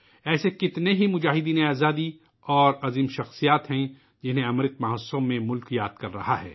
ایسے بہت سے آزادی کے سپاہی اور عظیم شخصیات ہیں ، جنہیں '' امرت مہوتسو '' میں ملک یاد کر رہا ہے